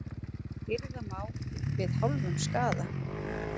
Hirða má við hálfum skaða.